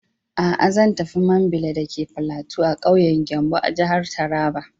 A'a, Zan tafi Mambila dake platu a ƙauyen Gembu a jihar Taraba.